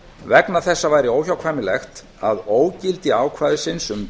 vegna þessa væri óhjákvæmilegt að ógildi ákvæðisins um